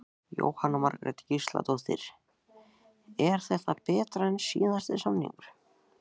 Jóhanna Margrét Gísladóttir: Er þetta betra en síðasti samningur?